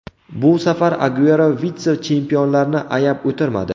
Bu safar Aguero vitse-chempionlarni ayab o‘tirmadi.